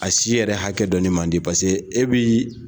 A si yɛrɛ hakɛ dɔnni man di paseke e bi